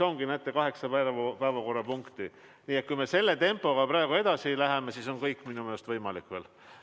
Aga näete, siin on kaheksa päevakorrapunkti ja kui me selle tempoga praegu edasi läheme, siis on minu meelest kõik veel võimalik.